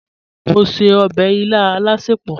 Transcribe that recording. Mọ̀ n ṣẹ̀ ọbẹ̀ ilà alásẹpọ̀.